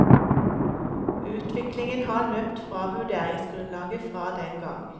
Utviklingen har løpt fra vurderingsgrunnlaget fra den gang.